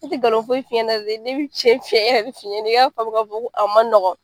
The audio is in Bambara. Ne ti ngalon foyi f'i ɲɛna dɛ, ne bi cɛn cɛn yɛrɛ de f'i ɲɛna i ka famu ka fɔ ko a man nɔgɔ.